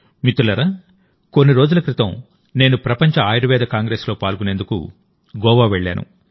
మిత్రులారాకొన్ని రోజుల క్రితం నేను ప్రపంచ ఆయుర్వేద కాంగ్రెస్ లో పాల్గొనేందుకు గోవా వెళ్ళాను